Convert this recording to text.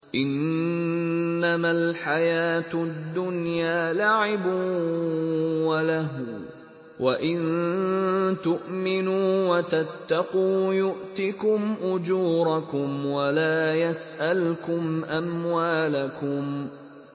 إِنَّمَا الْحَيَاةُ الدُّنْيَا لَعِبٌ وَلَهْوٌ ۚ وَإِن تُؤْمِنُوا وَتَتَّقُوا يُؤْتِكُمْ أُجُورَكُمْ وَلَا يَسْأَلْكُمْ أَمْوَالَكُمْ